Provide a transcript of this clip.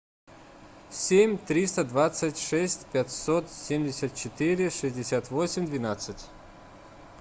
семь триста двадцать шесть пятьсот семьдесят четыре шестьдесят восемь двенадцать